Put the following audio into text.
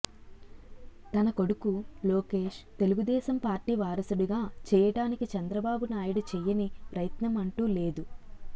తన కొడుకు లోకేష్ తెలుగుదేశం పార్టీ వారసుడిగా చేయటానికి చంద్రబాబు నాయుడు చేయని ప్రయత్నం అంటూ లేదు